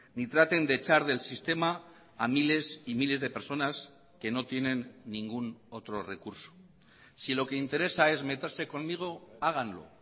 ni traten de echar del sistema a miles y miles de personas que no tienen ningún otro recurso si lo que interesa es meterse conmigo háganlo